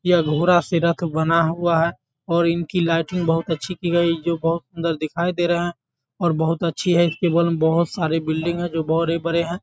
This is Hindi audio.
यह घोड़ा से रथ बना हुआ है और इनकी लाइटिंग बहुत अच्छी की गई है जो बहुत सुन्दर दिखाई दे रहा है और बहुत अच्छी है। इसके बगल में बहुत सारे बिल्डिंग हैं जो बड़े-बड़े हैं।